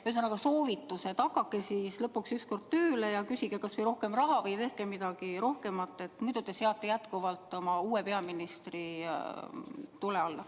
Ühesõnaga, soovitus: hakake lõpuks ükskord tööle ja küsige kas või rohkem raha või tehke midagi rohkemat, muidu te seate jätkuvalt oma uue peaministri tule alla.